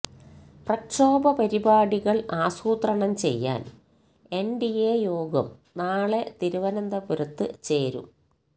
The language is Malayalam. പ്രക്ഷോഭ പരിപാടികള് ആസൂത്രണം ചെയ്യാന് എന്ഡിഎ യോഗം നാളെ തിരുവനന്തപുരത്ത് ചേരും